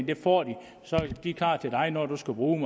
det får de og så er de klar til dig når du skal bruge